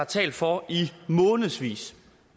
talt for i månedsvis